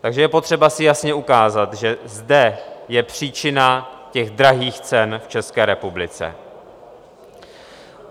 Takže je potřeba si jasně ukázat, že zde je příčina těch drahých cen v České republice.